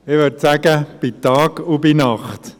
Ich würde sagen, bei Tag und bei Nacht.